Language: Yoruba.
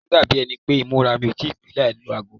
Ó máa ń dàbí ẹni pé ìmúra mi kò ì tí pè é láì lọ ago.